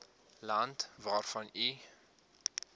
land waarvan u